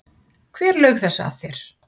Hver laug þessu að þér?